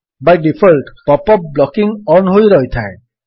Bai default pop up blocking on ହୋଇ ରହିଥାଏ